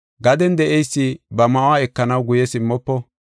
Gaden de7eysi ba ma7uwa ekanaw guye simmofo.